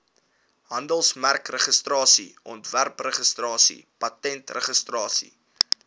handelsmerkregistrasie ontwerpregistrasie patentregistrasie